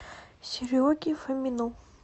сереге фомину